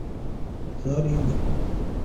заринску